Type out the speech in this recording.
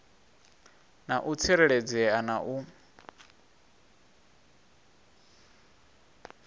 na u tsireledzea na u